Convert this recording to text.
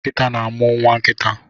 Nkita na amu Nwa nkita